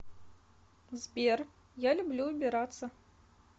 сбер я люблю убираться